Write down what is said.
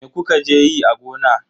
Me kuka je yi a gona yau?